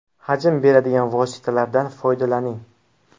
Hajm beradigan vositalardan foydalaning.